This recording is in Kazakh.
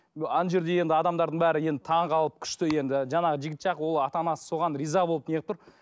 ана жерде енді адамдардың бәрі енді таңғалып күшті енді жаңа жігіт жақ ол ата анасы соған риза болып неғып тұр